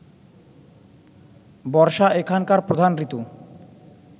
বর্ষা এখানকার প্রধান ঋতু